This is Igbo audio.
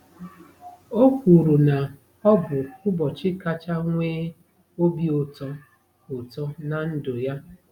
O kwuru na ọ bụ ụbọchị kacha nwee obi ụtọ ụtọ ná ndụ ya.